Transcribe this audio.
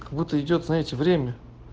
как будто идёт знаете время